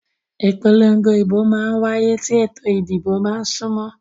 Ìpòlongo ìbò mà n wáyé tí ètò ìdìbò bá n súnmọ́